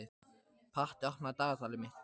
Patti, opnaðu dagatalið mitt.